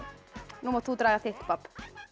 nú mátt þú draga þitt babb